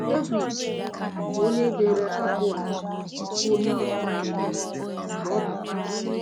Devid, bụ́ onye dere abụ a, bụ onye ọzụzụ atụrụ mgbe ọ bụ nwata.